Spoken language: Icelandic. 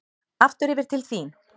Aftur yfir til þín.